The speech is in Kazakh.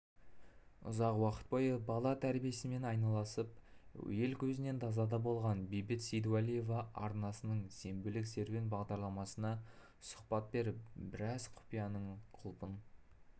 ұзақ уақыт бойы бала тәрбиесімен айналысып ел көзінен тасада болған бейбіт сейдуалиева арнасының сенбілік серуен бағдарламасына сұхбат беріп біраз құпияның құлпын